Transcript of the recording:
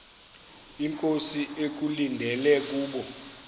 inkosi ekulindele kubo